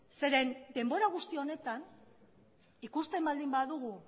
zeren denbora guzti honetan ikusten baldin badugu